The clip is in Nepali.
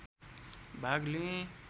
भाग लिएँ